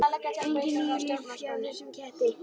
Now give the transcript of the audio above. Engin níu líf hjá þessum ketti.